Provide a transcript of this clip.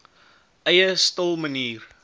eie stil manier